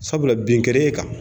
Sabula bin kɛra e kan